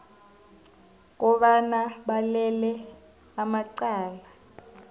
kobana balele amacala